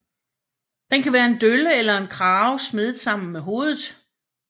Den kan være en dølle eller en krave smedet sammen med hovedet